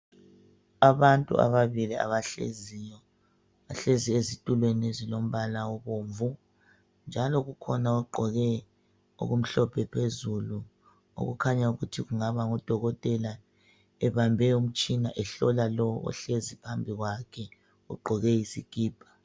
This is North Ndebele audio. Abantu ababili abahleziyo bahlezi ezitulweni ezilombala obomvu njalo kukhona ogqoke okumhlophe phezulu okukhanya ukuthi kungaba ngudokotela ebambe umtshina ehlola lowo ohlezi phambi kwakhe ugqoke isikipa.